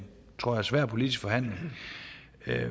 svær politisk forhandling